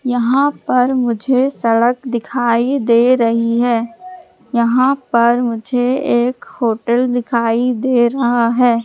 यहां पर मुझे सड़क दिखाई दे रही है यहां पर मुझे एक होटल दिखाई दे रहा है।